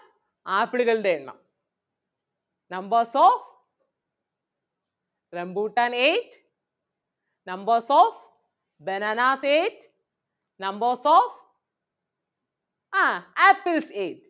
ആപ്പിളുകളുടെ എണ്ണം numbers of rambuttan ate numbers of bananas ate numbers of ah apples ate